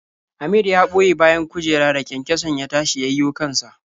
Amir ya ɓoye bayan kujera da kyankyason ya tashi ya yiwo kan sa.